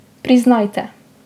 Priznajte.